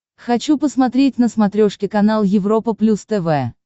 хочу посмотреть на смотрешке канал европа плюс тв